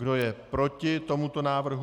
Kdo je proti tomuto návrhu?